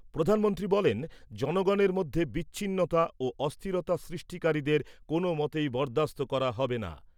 প্রধানমন্ত্রী বলেন, জনগণের মধ্যে বিচ্ছিন্নতা ও অস্থিরতা সৃষ্টিকারীদের কোনও মতেই বরদাস্ত করা হবে না।